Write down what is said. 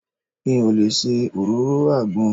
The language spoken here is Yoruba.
Mi ò lè ṣe òróró àgbọn.